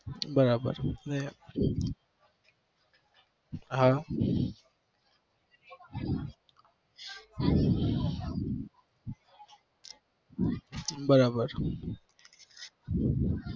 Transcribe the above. બરાબર હા બરાબર